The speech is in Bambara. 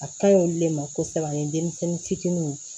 A kaɲi olu le ma kosɛbɛ ani denmisɛnnin fitininw